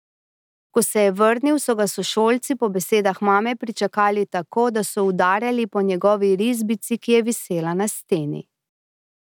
Ko se je vrnil, so ga sošolci po besedah mame pričakali tako, da so udarjali po njegovi risbici, ki je visela na steni.